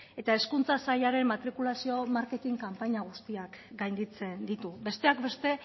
eta hezkuntza sailaren matrikulazio marketin kanpaina guztiak gainditzen ditu besteak beste